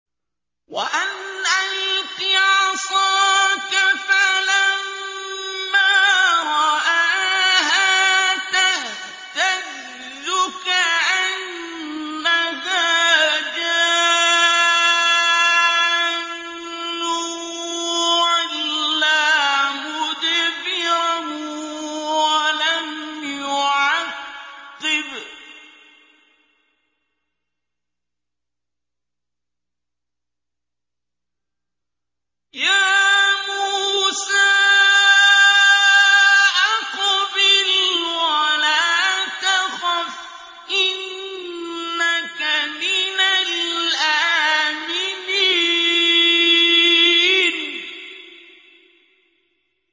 وَأَنْ أَلْقِ عَصَاكَ ۖ فَلَمَّا رَآهَا تَهْتَزُّ كَأَنَّهَا جَانٌّ وَلَّىٰ مُدْبِرًا وَلَمْ يُعَقِّبْ ۚ يَا مُوسَىٰ أَقْبِلْ وَلَا تَخَفْ ۖ إِنَّكَ مِنَ الْآمِنِينَ